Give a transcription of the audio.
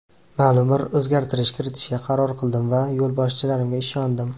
Ma’lum bir o‘zgartirish kiritishga qaror qildim va yo‘lboshchilarimga ishondim.